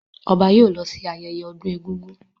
Ọba yóò lọ sí ayẹyẹ ọdún egúngún.